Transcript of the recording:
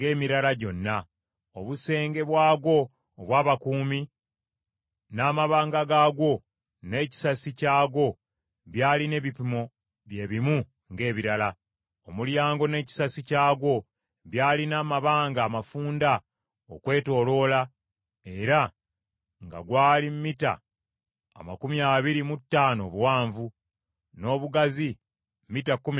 Obusenge bwagwo obw’abakuumi, n’amabanga gaagwo, n’ekisasi kyagwo byalina ebipimo bye bimu ng’ebirala. Omulyango n’ekisasi kyagwo byalina amabanga amafunda okwetooloola, era gwali mita amakumi abiri mu ttaano obuwanvu, n’obugazi mita kkumi na bbiri n’ekitundu.